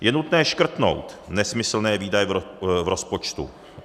Je nutné škrtnout nesmyslné výdaje v rozpočtu.